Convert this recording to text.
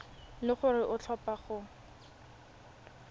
le gore o tlhopha go